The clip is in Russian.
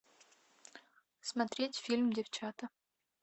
смотреть фильм девчата